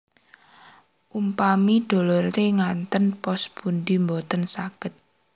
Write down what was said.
Umpami dolotre ngaten dos pundi Mboten saged